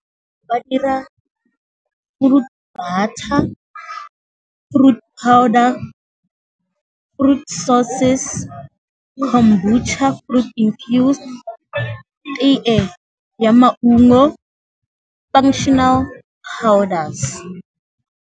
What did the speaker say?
Ba dira fruit butter, fruit powder, fruits sauces, fruit infused, tee ya muango, powders.